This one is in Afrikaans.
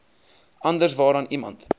anders waaraan iemand